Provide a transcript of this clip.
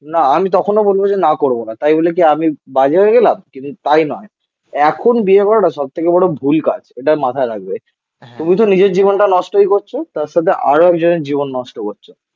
না আমি তখনও বলবো যে না করবো না. তাই বলে কি আমি বাজে হয়ে গেলাম. কিন্তু তাই নয়. এখন বিয়ে করাটা সব থেকে বড় ভুল কাজ. এটা মাথায় রাখবে তুমি তো নিজের জীবনটা নষ্টই করছো. তার সাথে আরও একজনের জীবন নষ্ট করছো